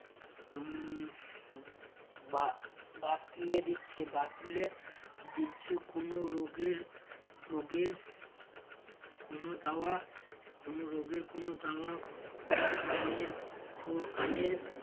বা~ বাতলে দিচ্ছে বাতলে দিচ্ছে কোনো রোগের রোগের কোনো দাওয়া কোনো রোগের কোনো দাওয়া কানের ফু কানের